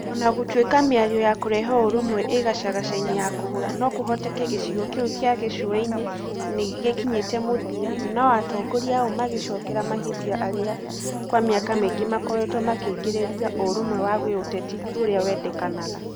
O na gũtuika mĩario ya kũrehe ũrũmwe ĩ gacagacaĩni ya kũgũra, no kũhoteke gĩcigo kĩu kĩa gĩcũa-inĩ nĩ gĩkĩnyĩte mũthia, na atongoria ao magĩcokera mahĩtia arĩa kwa mĩaka maingĩ makoretwo makĩrigĩrĩria ũrũmwe wa gĩũteti ũrĩa wendekanaga.